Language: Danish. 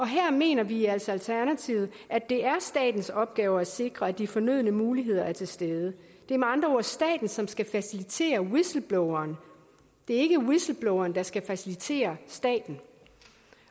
her mener vi altså i alternativet at det er statens opgave at sikre at de fornødne muligheder er til stede det er med andre ord staten som skal facilitere whistlebloweren det er ikke whistlebloweren der skal facilitere staten